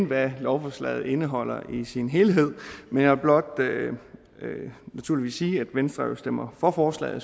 hvad lovforslaget indeholder i sin helhed men jeg vil blot naturligvis sige at venstre jo stemmer for forslaget og